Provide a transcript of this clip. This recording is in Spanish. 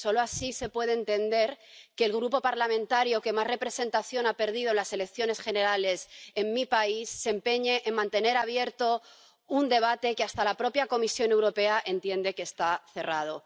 Solo así se puede entender que el grupo parlamentario que más representación ha perdido en las elecciones generales en mi país se empeñe en mantener abierto un debate que hasta la propia Comisión Europea entiende que está cerrado.